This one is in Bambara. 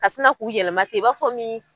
Ka sina k'u yɛlɛma ten i b'a fɔ min.